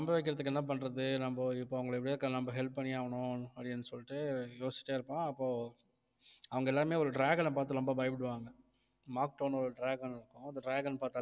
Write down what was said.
நம்ப வைக்கிறதுக்கு என்ன பண்றது நம்ம இப்ப அவங்களை எப்படியாவது நம்ம help பண்ணியாகணும் அப்படின்னு சொல்லிட்டு யோசிச்சிட்டே இருப்பான் அப்போ அவங்க எல்லாமே ஒரு dragon அ பார்த்து ரொம்ப பயப்படுவாங்க makto ஒரு dragon இருக்கும் அந்த dragon பார்த்தாலே